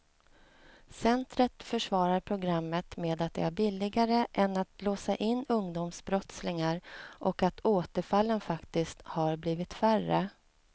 Centret försvarar programmet med att det är billigare än att låsa in ungdomsbrottslingar och att återfallen faktiskt har blivit färre.